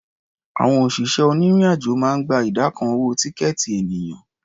Àwọn òṣìṣẹ́ onírìn-àjò máa ń gba ìdá kan owó tíkẹ̀ẹ̀tì ènìyàn.